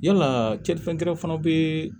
Yalaa kɛli fɛn wɛrɛ fana be yen